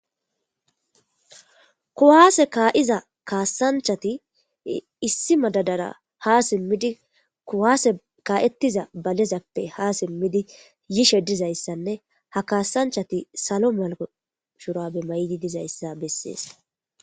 Kuwaase kaa,iza kaassanchati issi madadara ha simmidi kuwaase kaa,ettiza balezappe ha simmidi yishe dizayssanne ha kaasanchati salo malako shura be may,idi dizayssa bessees.